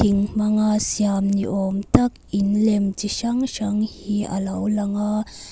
in hmanga siam ni awm tak in lem chi hrang hrang hi a lo lang a.